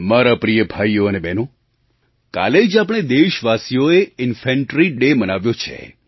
મારા પ્રિય ભાઈઓ અને બહેનો કાલે જ આપણે દેશવાસીઓએ Ínfantry ડે મનાવ્યો છે